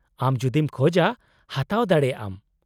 -ᱟᱢ ᱡᱩᱫᱤᱢ ᱠᱷᱚᱡᱽᱼᱟ ᱦᱟᱛᱟᱣ ᱫᱟᱲᱮᱭᱟᱜᱼᱟᱢ ᱾